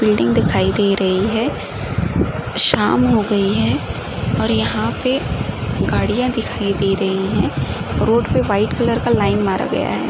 Building दिखाई दे रही है। शाम हो गयी है और यहाँ पे गाड़िया दिखाई दे रही हैं। रोड पर वाइट कलर का लाइन मारा गया है।